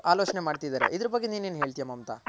ಆ ತರ ಆಲೋಚನೆ ಮಾಡ್ತಿದಾರೆ ಇದರ್ ಬಗ್ಗೆ ನೀನ್ ಏನ್ ಹೇಳ್ತ್ಯ ಮಮತಾ.